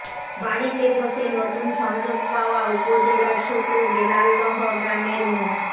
বাড়িতে বসে নতুন সংযোগ পাওয়া উপজেলার ছোট বেলালদহ গ্রামের মো